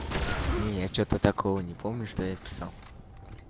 не я что-то такого не помню что я писал